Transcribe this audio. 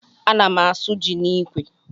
A ná m asụ jị n'ikwe.